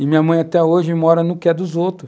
E minha mãe até hoje mora no que é dos outros.